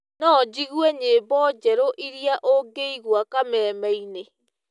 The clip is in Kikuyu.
no njĩgũe nyĩmbo njerũ ĩrĩa ũngĩĩgũa kamemeĩnĩ